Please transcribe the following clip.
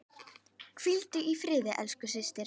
Hvíldu í friði elsku systir.